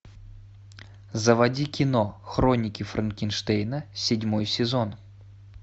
заводи кино хроники франкенштейна седьмой сезон